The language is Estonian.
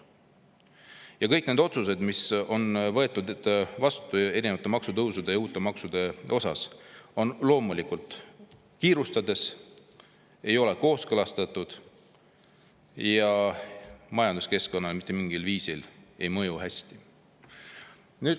Ja kõik need otsused, mis on võetud vastu erinevate maksutõusude ja uute maksude kohta, on loomulikult tehtud kiirustades, ei ole kooskõlastatud ja majanduskeskkonnale mitte mingil viisil hästi ei mõju.